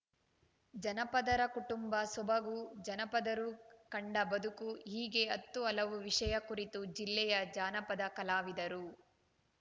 ಜನಪದರ ಕುಟುಂಬ ಸೊಬಗು ಜನಪದರು ಕಂಡ ಬದುಕು ಹೀಗೆ ಹತ್ತು ಹಲವು ವಿಷಯ ಕುರಿತು ಜಿಲ್ಲೆಯ ಜಾನಪದ ಕಲಾವಿದರು